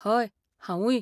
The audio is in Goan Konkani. हय, हांवूय.